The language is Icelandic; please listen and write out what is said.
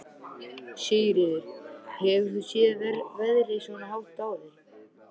Sigríður: Hefur þú séð verðið svona hátt áður?